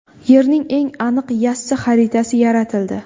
Yerning eng aniq yassi xaritasi yaratildi.